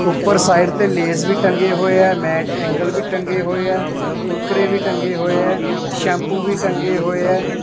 ਊਪਰ ਸਾਈਡ ਤੇ ਲੇਜ਼ ਵੀ ਟੰਗੇ ਹੋਏ ਹੈਂ ਮੈਡ ਏਂਗਲ ਵੀ ਟੰਗੇ ਹੋਏ ਹੈਂ ਕੁਰਕੁਰੇ ਵੀ ਟੰਗੇ ਹੋਏ ਹੈਂ ਸੈਂਪੂ ਵੀ ਟੰਗੇ ਹੋਏ ਹੈਂ।